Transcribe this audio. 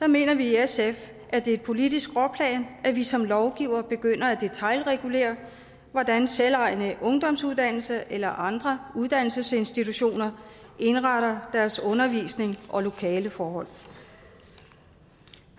mener vi i sf at det er et politisk skråplan at vi som lovgivere begynder at detailregulere hvordan selvejende ungdomsuddannelser eller andre uddannelsesinstitutioner indretter deres undervisning og lokaleforhold